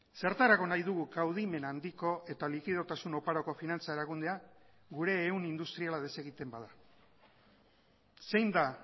zertarako nahi dugu kaudimen handiko eta likidotasun oparoko finantza erakundea gure ehun industriala desegiten bada zein da